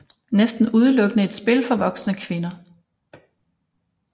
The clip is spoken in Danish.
Næsten udelukkende et spil for voksne kvinder